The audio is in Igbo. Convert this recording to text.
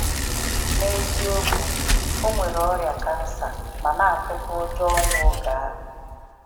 N’eziokwu, o nwere ọrịa kansa ma na atụkwa ụjọ ọnwụ oge ahụ.